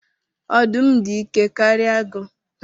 Ọdụm dị ike karịa agụ